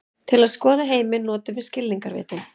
Til að skoða heiminn notum við skilningarvitin.